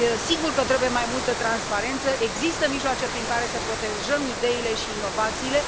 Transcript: Sigur că trebuie mai multă transparență și există mijloace prin care să protejăm ideile și inovațiile.